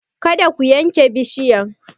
Kada ku yanke bishiyan!